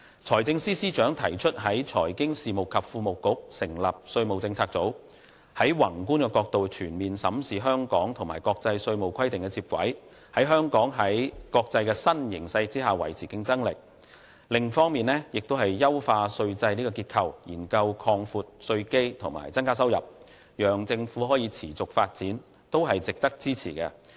財政司司長提出在財經事務及庫務局之內成立稅務政策組，從宏觀角度全面審視香港如何與國際稅務規定接軌，使香港在國際新形勢下維持競爭力。另一方面，優化稅制結構，研究擴闊稅基和增加收入，讓政府可以持續發展，都是值得支持。